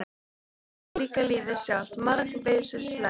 En þannig er líka lífið sjálft- margvíslegt lífið.